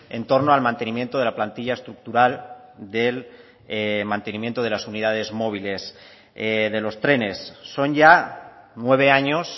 en torno al mantenimiento de la plantilla estructural del mantenimiento de las unidades móviles de los trenes son ya nueve años